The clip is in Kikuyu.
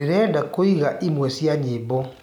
ndĩrenda kũĩgwaĩmwe cĩa nyĩmbo